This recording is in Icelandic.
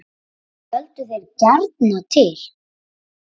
Völdu þeir gjarnan til